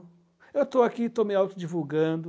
Eu estou aqui e estou me autodivulgando.